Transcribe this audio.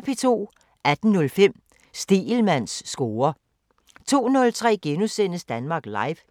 18:05: Stegelmanns score 02:03: Danmark Live *